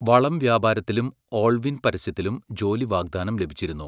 വളം വ്യാപാരത്തിലും ഓൾവിൻ പരസ്യത്തിലും ജോലി വാഗ്ദാനം ലഭിച്ചിരുന്നു.